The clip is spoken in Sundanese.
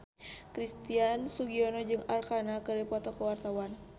Christian Sugiono jeung Arkarna keur dipoto ku wartawan